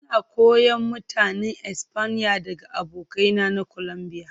Ina koyon Mutanen Espanya daga abokaina na Colombia